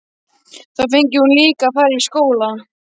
Þá fengi hún líka að fara í skóla.